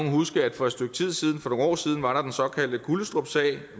huske at for et stykke tid siden for nogle år siden var der den såkaldte gullestrupsag